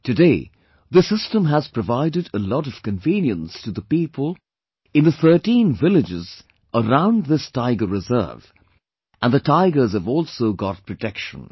Today, this system has provided a lot of convenience to the people in the 13 villages around this Tiger Reserve and the tigers have also got protection